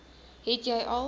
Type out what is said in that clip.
het jy al